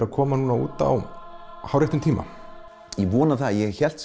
að koma út á hárréttum tíma ég vona það ég hélt